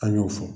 An y'o fɔ